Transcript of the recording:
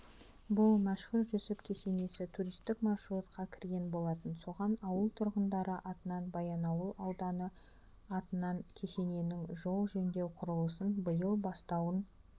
бұл мәшһүр жүсіп кесенесі туристік маршрутқа кірген болатын соған ауыл тұрғындары атынан баянауыл ауданы атынан кесененің жол жөндеу құрылысын биыл бастауын